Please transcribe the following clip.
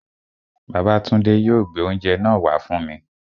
Babátúndé yóò gbé oúnjẹ náà wá fún mi